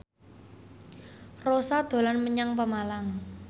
Rossa dolan menyang Pemalang